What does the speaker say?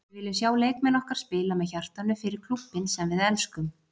Við viljum sjá leikmenn okkar spila með hjartanu- fyrir klúbbinn sem við elskum.